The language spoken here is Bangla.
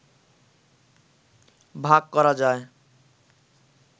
ভাগ করা যায়।